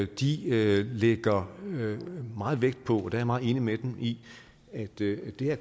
de lægger meget vægt på det er jeg meget enig med dem i at det her